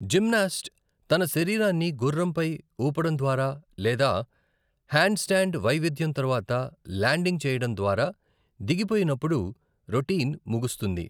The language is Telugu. జిమ్నాస్ట్ తన శరీరాన్ని గుర్రంపై ఊపడం ద్వారా లేదా హ్యాండ్స్టాండ్ వైవిధ్యం తర్వాత ల్యాండింగ్ చేయడం ద్వారా దిగిపోయినప్పుడు రొటీన్ ముగిస్తుంది.